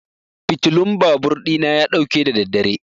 fitulan babur ɗina ya ɗauke da daddare.